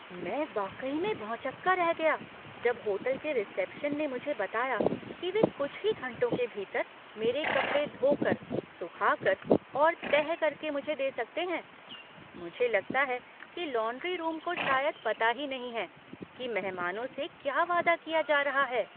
मैं वाकई में भौंचक्का रह गया जब होटल के रिसेप्शन ने मुझे बताया कि वे कुछ ही घंटों के भीतर मेरे कपड़े धो कर, सुखा कर और तह करके मुझे दे सकते हैं। मुझे लगता है कि लॉन्ड्री रूम को शायद पता ही नहीं है कि मेहमानों से क्या वादा किया जा रहा है!